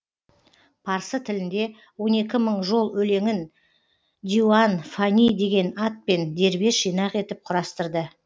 парсы тілінде он екі мың жол өлеңін диуан фани деген атпен дербес жинақ етіп құрастырды